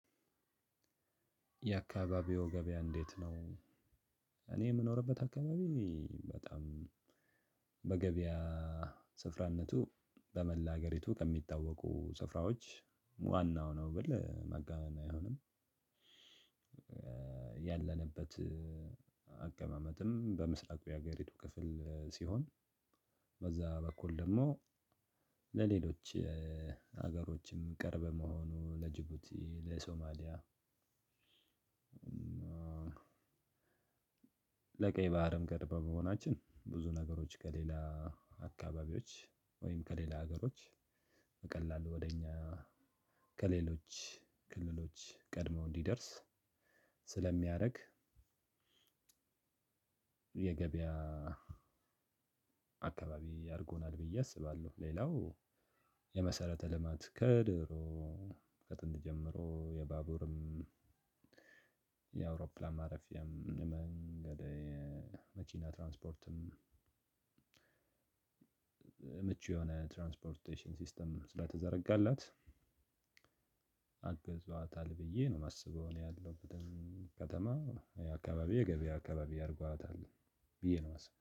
የአካባቢው ገበያ እንዴት ነው? እኔ የምኖርበት አካባቢ በጣም በገበያ ስፍራነቱ በመላ ሀገሪቱ ከሚታወቁ ስፍራዎች ዋናው ነው ብል ማጋነን አይሆንም። ያለንበት አቀማመጥም በምስራቅ የሀገሪቱ ክፍል ሲሆን በዛ በኩል ደግሞ ለሌሎች ሀገሮችም ቅርብ መሆኑ ለጅቡቲ ለሶማሊያ ለቀይ ባህርም ቅርብ መሆናችን ብዙ ነገሮች ከሌላ አካባቢዎች ወይም ከሌላ ሀገሮች በቀላሉ ወደ እኛ ከሌሎች ክልሎች ቀድመው እንዲደርስ ስለሚያደርግ። የገበያ አካባቢ አድርጎናል ብዬ አስባለሁ። ሌላው የመሰረተ ልማት ከድሮ ከጥንት ጀምሮ የባቡርም የአውሮፕላን ማረፊያ መንገድ የመኪና ትራንስፖርትም ምቹ የሆነ ትራንስፖርቴሽን ሲስተም ስለተዘረጋላት አገዟታል ብዬ ነው የማስበው። እኔ ያለውበትም ከተማ የአካባቢ የገበያ አካባቢ አድርጓታል ብዬ ነው የማስበው